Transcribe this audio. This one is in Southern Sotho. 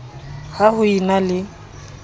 ha ho e na le